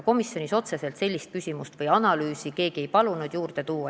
Komisjonis otseselt sellist analüüsi keegi ei palunud kõrvale tuua.